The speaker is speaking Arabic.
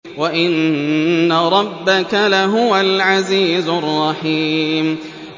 وَإِنَّ رَبَّكَ لَهُوَ الْعَزِيزُ الرَّحِيمُ